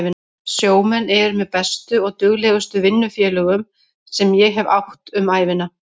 Sjómenn eru með bestu og duglegustu vinnufélögum sem ég hef átt um ævina.